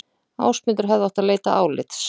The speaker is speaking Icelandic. Ásmundur hefði átt að leita álits